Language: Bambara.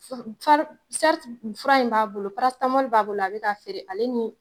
fura in b'a bolo, b'a bolo a bɛ k'a feere ale ni